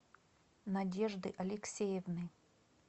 надежды алексеевны